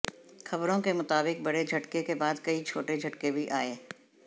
खबरों के मुताबिक बड़े झटके के बाद कई छोटे झटके भी आए